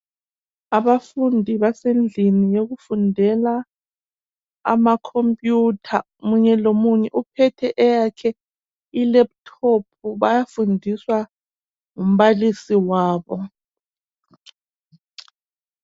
Abafundi basendlini yoku fundela ama khompuyutha munye lo munye uphethe i lephuthophu bayafundiswa ngumbalisi wabo.